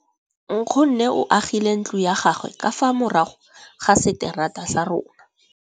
Nkgonne o agile ntlo ya gagwe ka fa morago ga seterata sa rona.